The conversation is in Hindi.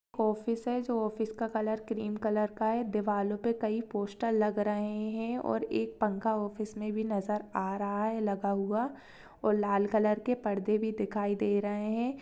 ऑफिस है जो ऑफिस का कलर क्रीम कलर का है दीवालों पे कई पोस्टर लग रहे हैं और एक फंखा ऑफिस में भी नजर आ रहा है लगा हुआ और लाल कलर के परदे भी दिखाई दे रहे हैं।